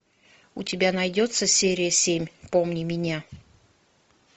у тебя найдется серия семь помни меня